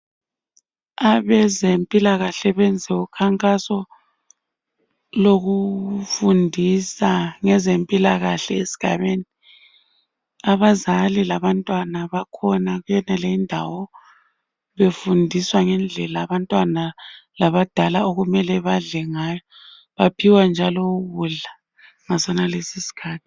abezempilakhale benza ukhankaso lokufundisa ngezempilakahle esigabeni abazali alabantwana bakhona kuyonale indawo befundiswa ngendlela abadala labantwana okumele badle ngayo baphiwa njalo ukudla ngasonalesi isikhathi